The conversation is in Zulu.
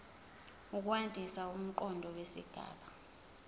ukwandisa umqondo wesigaba